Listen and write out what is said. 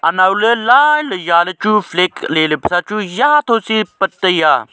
anau le line ja le chu flag lele pe sa chu ja tho chi pat taiya.